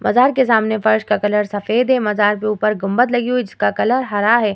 मजार के सामने फर्श का कलर सफेद है मजार के ऊपर गुम्बद लगी हुई है जिसका कलर हरा है।